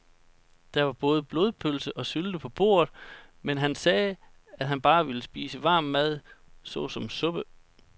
Der var både blodpølse og sylte på bordet, men han sagde, at han bare ville spise varm mad såsom suppe.